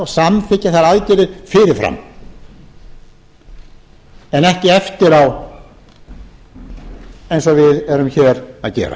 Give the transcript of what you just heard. samþykkja þær aðgerðir fyrirfram en ekki eftir á eins og við erum hér að gera